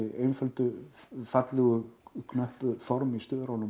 einföldu fallegu knöppu form í